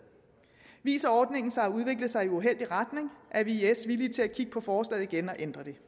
viser ordningen sig at udvikle sig i uheldig retning er vi i s villige til at kigge på forslaget igen og ændre det